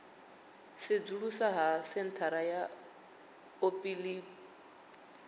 sedzulusa ha senthara ya olimpiki